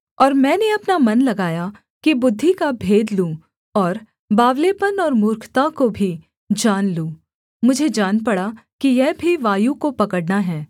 और मैंने अपना मन लगाया कि बुद्धि का भेद लूँ और बावलेपन और मूर्खता को भी जान लूँ मुझे जान पड़ा कि यह भी वायु को पकड़ना है